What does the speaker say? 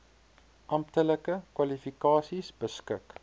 amptelike kwalifikasies beskik